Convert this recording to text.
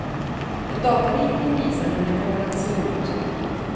En dataritning visar hur det kommer se ut.